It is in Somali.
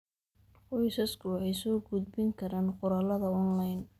Qoysasku waxay soo gudbin karaan qoraallada onlayn.